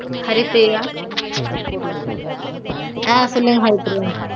ஹரிப்பிரியா ஆஹ் சொல்லுங்க ஹரிப்பிரியா.